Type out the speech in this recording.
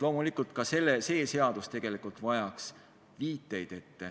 Loomulikult ka see seadus tegelikult vajaks viiteid.